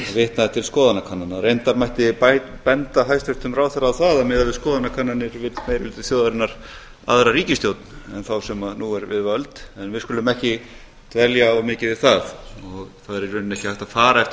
vitnaði til skoðanakannana reyndar mætti benda hæstvirtum ráðherra á það að miðað við skoðanakannanir vill meiri hluti þjóðarinnar aðra ríkisstjórn en þá sem er nú er við völd en við skulum ekki dvelja of mikið við það það er í rauninni ekki hægt að fara eftir